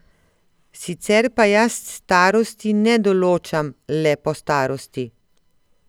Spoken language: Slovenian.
Sicer pa jaz starosti ne določam le po starosti.